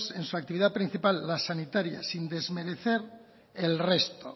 en su actividad principal las sanitarias sin desmerecer el resto